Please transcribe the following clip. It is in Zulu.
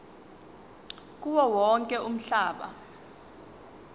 kuwo wonke umhlaba